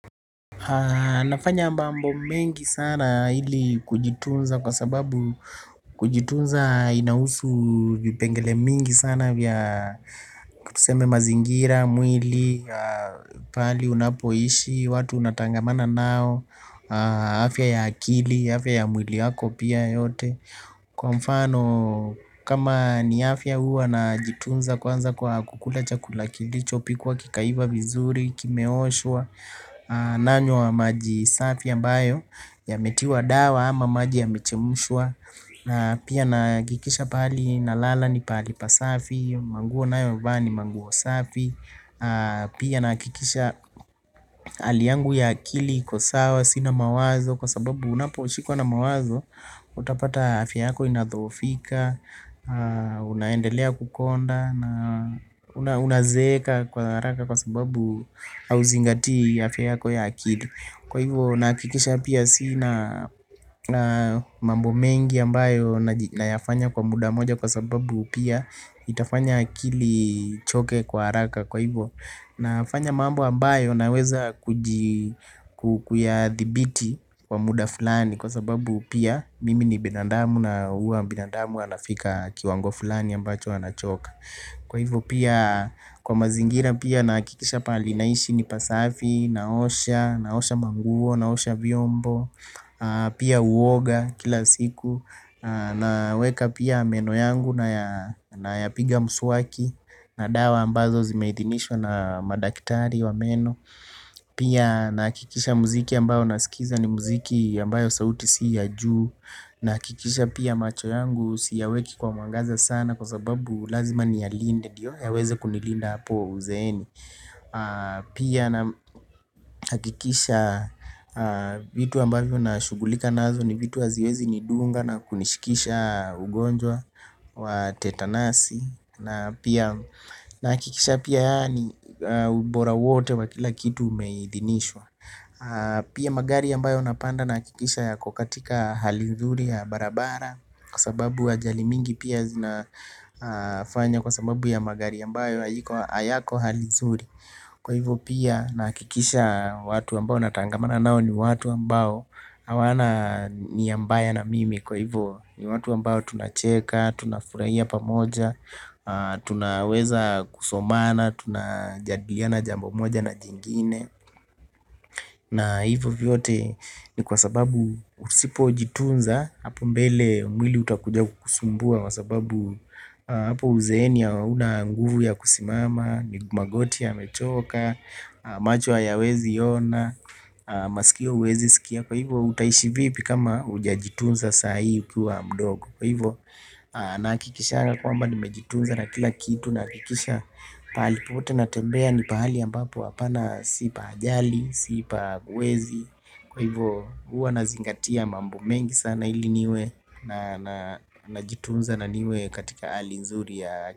Nafanya mambo mengi sana ili kujitunza kwa sababu kujitunza inahusu vipengele mingi sana vya tuseme mazingira mwili pahali unapoishi watu unatangamana nao afya ya akili afya ya mwili yako pia yote kwa mfano kama ni afya huwa najitunza kwanza kwa kukula chakula kilichopikwa kikaiva vizuri kimeoshwa nanywa maji safi ambayo yametiwa dawa ama maji yamechemushwa pia nahakikisha pahali nalala ni pahali pasafi manguo ninayovaa ni manguo safi pia nahakikisha hali yangu ya akili iko sawa sina mawazo kwa sababu unaposhikwa na mawazo utapata afya yako inadhoofika unaendelea kukonda na unazeeka kwa haraka kwa sababu hauzingatii afya yako ya akili kwa hivyo nahakikisha pia sina mambo mengi ambayo nayafanya kwa muda moja kwa sababu pia itafanya akili ichoke kwa haraka kwa hivyo nafanya mambo ambayo naweza kuyadhibiti kwa muda fulani kwa sababu pia mimi ni binadamu na huwa binadamu anafika kiwango fulani ambacho anachoka kwa hivyo pia kwa mazingira pia nahakikisha pahali naishi ni pasafi naosha naosha manguo naosha vyombo pia huoga kila siku naweka pia meno yangu nayapiga mswaki na dawa ambazo zimeidhinishwa na madaktari wa meno pia nakikisha muziki ambayo nasikiza ni muziki ambayo sauti si ya juu nahakikisha pia macho yangu siyaweki kwa mwangaza sana kwa sababu lazima niyalinde ndiyo yaweze kunilinda hapo uzeeni pia nahakikisha vitu ambavyo nashughulika nazo ni vitu haziwezi nidunga na kunishikisha ugonjwa wa tetanasi na pia nahakikisha pia yaani ubora wote wa kila kitu umeidhinishwa pia magari ambayo napanda nahakikisha yako katika hali nzuri ya barabara kwa sababu ajali mingi pia zinafanya kwa sababu ya magari ambayo hayako hali nzuri kwa hivyo pia nahakikisha watu ambao natangamana nao ni watu ambao hawana nia mbaya na mimi kwa hivyo ni watu ambao tunacheka tunafurahia pamoja tunaweza kusomana tunajadiliana jambo moja na jingine na hivyo vyote ni kwa sababu usipojitunza hapo mbele mwili utakuja kukusumbua kwa sababu hapo uzeeni hauna nguvu ya kusimama magoti yamechoka macho hayaweziona masikio huwezi sikia kwa hivyo utaishi vipi kama hujajitunza saa hii ukiwa mdogo kwa hivyo nahakikishanga kwamba nimejitunza na kila kitu nahakikisha pahali pote natembea ni pahali ambapo hapana si pa ajali si pa wezi kwa hivyo huwa nazingatia mambo mengi sana ili niwe najitunza na niwe katika hali nzuri ya.